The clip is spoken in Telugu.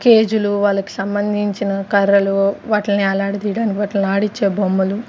కేజులు వాళ్ళకి సంబంధించిన కర్రలు వాటిల్ని యాలాడదీయడానికి వాటిని ఆడించే బొమ్మలు--